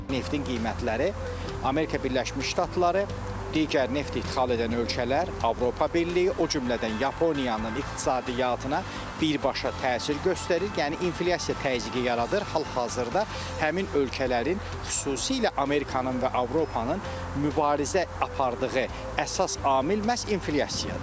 Neftin qiymətləri Amerika Birləşmiş Ştatları, digər neft ixrac edən ölkələr, Avropa Birliyi, o cümlədən Yaponiyanın iqtisadiyyatına birbaşa təsir göstərir, yəni inflyasiya təzyiqi yaradır, hal-hazırda həmin ölkələrin, xüsusilə Amerikanın və Avropanın mübarizə apardığı əsas amil məhz inflyasiyadır.